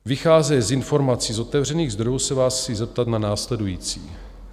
Vycházeje z informací z otevřených zdrojů se vás chci zeptat na následující: